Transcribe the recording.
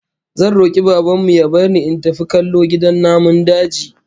Zan roki Baban mu ya bar ni in tafi kallo gidan namun daji